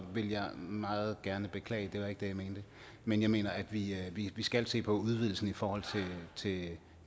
vil jeg meget gerne beklage det var ikke det jeg mente men jeg mener at vi skal se på udvidelsen i forhold